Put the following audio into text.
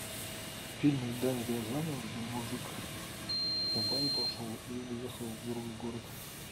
фильм эльдара рязанова где мужик в баню пошел и уехал в другой город